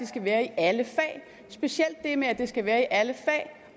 skal være i alle fag og specielt det med at det skal være i alle fag